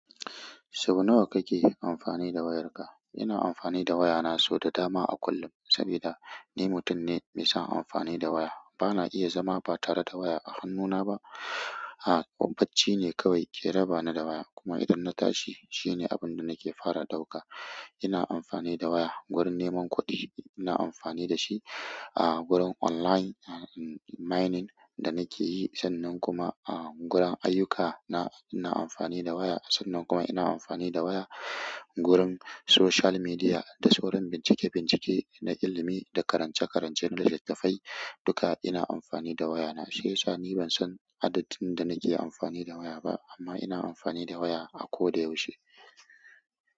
Sau nawa kake amfani da wayarka? Ina amfani da wayana sau da dama a kullum sabida ni mutum ne mai son amfani da waya. Bana iya zama ba tare da waya a hannuna ba. A bacci ne kawai ke raba ni da waya. Kuma idan na tashi, shine abin da nake fara ɗauka. Ina amfani da waya gurin neman kuɗi, ina amfani dashi ah gurin online mining da nakeyi. Sannan kuma ah gurin ayyukana ina amfani da waya. Sannan kuma ina amfani da waya gurin social media da sauran bincike-bincike na ilimi da karance-karance na littattafai. Duka ina amfani da wayana. Shi yasa ni ban san adadin da nake amfani da waya ba amma ina amfani da waya a koda yaushe.